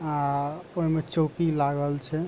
आ ओय मे चौकी लागल छै।